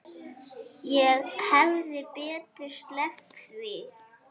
Ég hefði betur sleppt því.